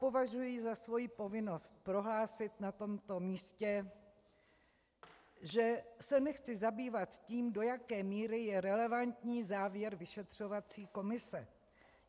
Považuji za svoji povinnost prohlásit na tomto místě, že se nechci zabývat tím, do jaké míry je relevantní závěr vyšetřovací komise.